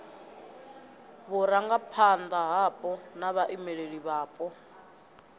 vhurangaphanda hapo na vhaimeleli vhapo